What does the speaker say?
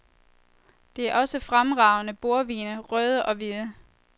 Det er også fremragende bordvine, røde og hvide.